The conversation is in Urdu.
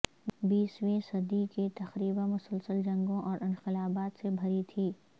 بیسویں صدی کے تقریبا مسلسل جنگوں اور انقلابات سے بھری تھی